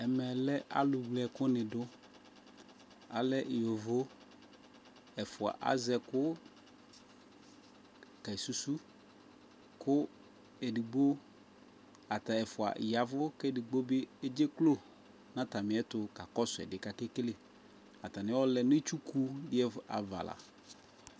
alɛ alu wle ɛkuni du alɛ yovo ɛfua azɛku kesuzu ku edigbo ata ɛfua ya ɛvu ku edigbo bi edze klo nu atami ɛtu kakɔsu anɛ ku akakele atani ɔlɛ nu itsuku ava la